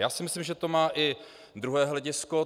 Já si myslím, že to má i druhé hledisko.